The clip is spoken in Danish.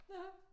Ja